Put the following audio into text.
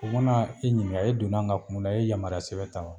U mana e ɲininka e donna an ka kun min na e ye yamarura sɛbɛn ta wa